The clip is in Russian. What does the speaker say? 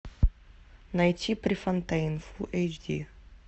найти префонтейн фул эйч ди